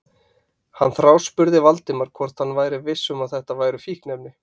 Hann þráspurði Valdimar hvort hann væri viss um að þetta væru fíkniefni.